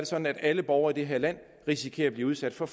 sådan at alle borgere i det her land risikerer at blive udsat for